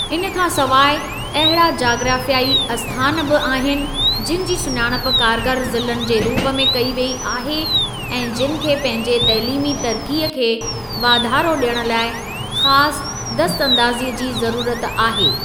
इन खां सवाइ, अहिड़ा जाग्राफ़ियाई आस्थान बि आहिनि, जिनि जी सुञाणप कारगर ज़िलनि जे रूप कई वेई आहे ऐं जिनि खे पंहिंजे तइलीमी तरक़ीअ खे वाधारो ॾियण लाइ ख़ासि दस्तंदाज़ीअ जी ज़रूरत आहे।